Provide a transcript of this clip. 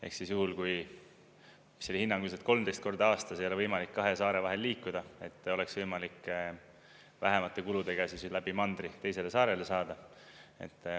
Ehk siis juhul, kui – see oli hinnanguliselt 13 korda aastas – ei ole võimalik kahe saare vahel liikuda, siis oleks võimalikult vähemate kuludega läbi mandri teisele saarele saada.